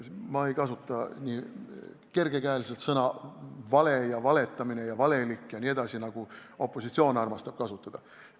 Ma ei kasuta kergekäeliselt sõnu "vale" ja "valetamine" ja "valelik", nagu opositsioon armastab kasutada.